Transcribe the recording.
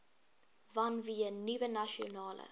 vanweë nuwe nasionale